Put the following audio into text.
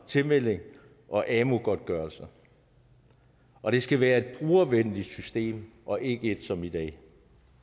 tilmelding og amu godtgørelser og det skal være et brugervenligt system og ikke som i dag